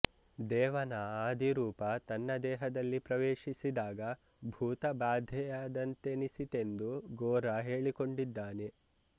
ದೇವನ ಆದಿರೂಪ ತನ್ನ ದೇಹದಲ್ಲಿ ಪ್ರವೇಶಿಸಿದಾಗ ಭೂತಬಾಧೆಯಾದಂತೆನಿಸಿತೆಂದು ಗೋರಾ ಹೇಳಿಕೊಂಡಿದ್ದಾನೆ